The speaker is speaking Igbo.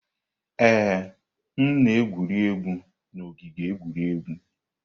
Ee, m na-egwu egwuregwu n'ogige egwuregwu.